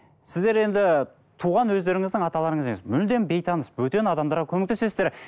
сіздер енді туған өздеріңіздің аталарыңыз емес мүлдем бейтаныс бөтен адамдарға көмектесесіздер